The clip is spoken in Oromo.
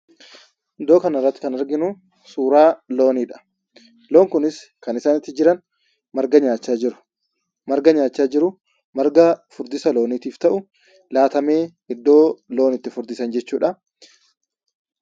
Iddoo kanarratti kan arginuu suuraa looniidha. Loon kunis kan isaan itti jiran marga nyaachaa jiru. Marga nyaachaa jiru; marga furdisa looniitiif ta'u laatamee iddoo loon itti furdisan jechuudha.